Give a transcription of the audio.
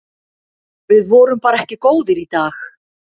Við vorum bara ekki góðir í dag.